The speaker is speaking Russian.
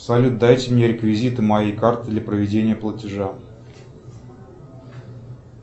салют дайте мне реквизиты моей карты для проведения платежа